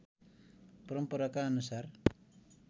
परम्पराका अनुसार